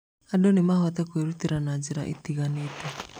Andũ no mahote kwĩrutĩra na njĩra itiganĩte.